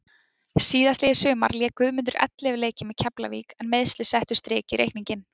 Síðastliðið sumar lék Guðmundur ellefu leiki með Keflavík en meiðsli settu strik í reikninginn.